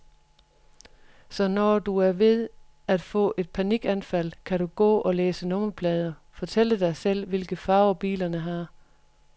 Så når du er ved at få et panikanfald, kan du gå og læse nummerplader, fortælle dig selv, hvilke farver bilerne har.